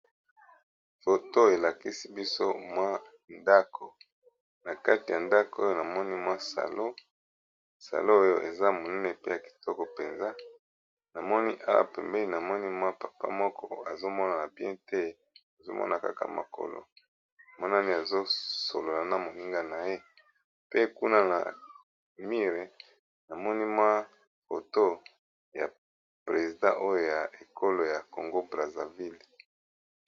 Foto elakisi biso mwa ndako na kati ya ndako oyo na moni mwa salosalo oyo eza monene pe ya kitoko mpenza na moni awa pembeni na moni mwa papa moko azomonana bien te azomona kaka mokolo monani azosolola na moninga na ye pe kuna na mire na moni mwa foto ya presidant oyo ya ekolo ya congo brazaville.